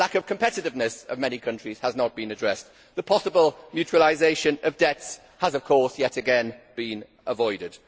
The lack of competitiveness of many countries has not been addressed. The possible mutualisation of debts has yet again been avoided.